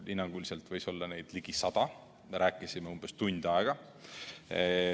Hinnanguliselt võis olla neid ligi sada ja me rääkisime umbes tund aega.